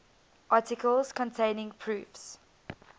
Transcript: articles containing proofs